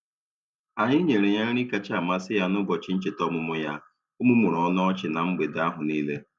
Anyi nyere ya nri kacha amasị ya n'ụbọchị ncheta ọmụmụ ya, o mumuru ọnụ ọchị na mgbede ahụ niile.